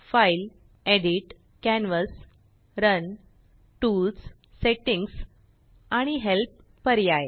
file edit canvas run tools Settingsआणिhelp पर्याय